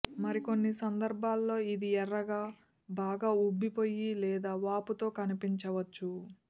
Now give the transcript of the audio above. మరికొన్ని సందర్భాల్లో ఇది ఎర్రగా బాగా ఉబ్బిపోయి లేదా వాపుతో కనిపించవచ్చు